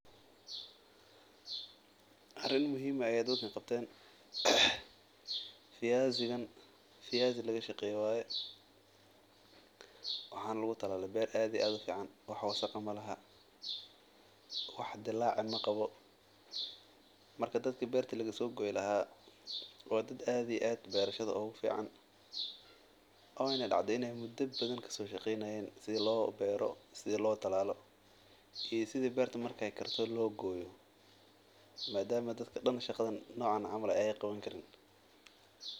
Arin muhim eh aya dadka qabten. Viazi gan viazi lagashaqey waye waxana lagu talali beer ad iyo ad u fican wax wadasakh malaha wax dilaac maqabo marka dadka beerta lagasogoy laha wa dad ad iyo beerashada ugu fican wayna dacday inay muda badan kasoshaqeynayen sida lo beero sida lo talaalo i sida marka ay beerta karto lo gooyo. Maadama dad daan shaqadan nocan camal ay qaban karin.